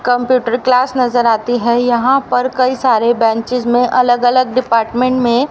computer class नजर आती है यहां पर कई सारी बेंचेस में अलग अलग डिपार्टमेंट में--